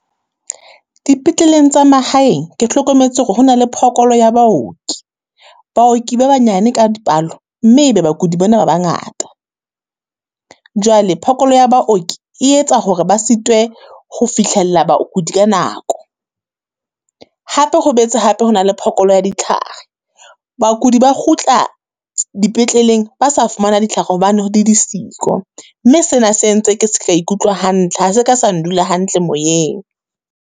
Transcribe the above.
Dipetleleng tsa mahaeng ke hlokometse hore ho na le phokolo ya baoki. Baoki ba banyane ka dipalo mme e be bakudi bona ba bangata. Jwale phokolo ya baoki e etsa hore ba sitwe ho fihlella bakudi ka nako. Hape ho boetse hape ho na le phokolo ya ditlhare. Bakudi ba kgutla dipetleleng, ba sa fumana ditlhare hobane di di siko, mme sena se entse ke seka ikutlwa hantl. Ha se ka sa ndula hantle moyeng,